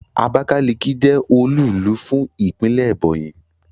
Abakaliki je olúùlú fún Ìpínlẹ̀ Ebonyi